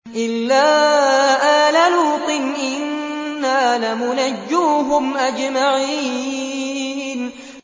إِلَّا آلَ لُوطٍ إِنَّا لَمُنَجُّوهُمْ أَجْمَعِينَ